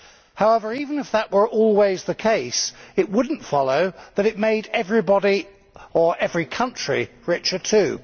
However, even if that were always the case, it would not follow that it made everybody or every country richer too.